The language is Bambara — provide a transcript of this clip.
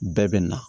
Bɛɛ bɛ na